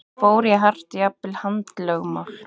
Fór í hart, jafnvel handalögmál?